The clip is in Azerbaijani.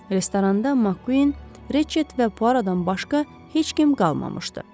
Restoranda Makquinin, Reçett və Puaroddan başqa heç kim qalmamışdı.